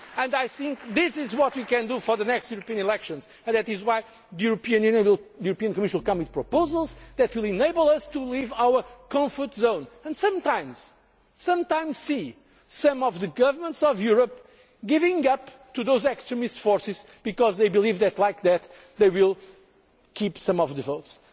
the defensive. I think this is what we can do for the next European elections and that is why the European Commission will come with proposals which will enable us to leave our comfort zone and sometimes see some of the governments of Europe giving up to those extremist forces because they believe that in that way they will keep some